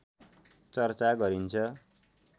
चर्चा गरिन्छ